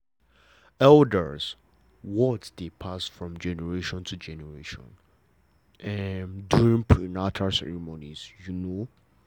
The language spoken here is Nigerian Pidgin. elders' words dey pass from generation to generation during prenatal ceremonies you know